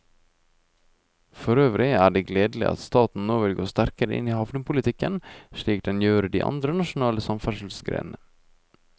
Forøvrig er det gledelig at staten nå vil gå sterkere inn i havnepolitikken, slik den gjør i de andre nasjonale samferdselsgrenene.